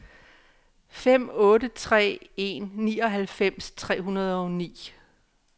fem otte tre en nioghalvfems tre hundrede og ni